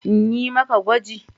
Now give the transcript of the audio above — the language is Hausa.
In yi maka gwaji?